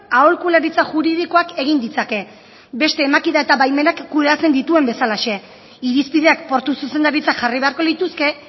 aholkularitza juridikoak egin ditzake beste emakida eta baimenak kudeatzen dituen bezalaxe irizpideak portu zuzendaritzak jarri beharko lituzke